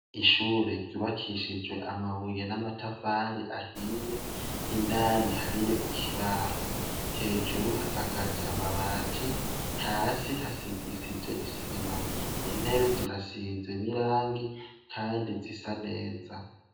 Ishure ryubakishijwe amabuye n'amatafari ahiye indani hariyo ikibaho, hejuru hasakaje amabati hasi hasigishije isima, intebe zirasize nirangi kandi zisa neza.